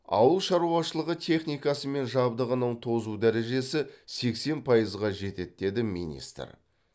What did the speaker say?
ауыл шаруашылығы техникасы мен жабдығының тозу дәрежесі сексен пайызға жетеді деді министр